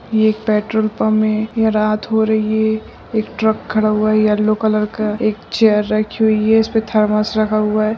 ये एक petrol pump है यह रात हो रही है एक ट्रक खड़ा हुआ है येलो कलर का एक चेयर रखी हुई है इसपे थरमस रखा हुआ है।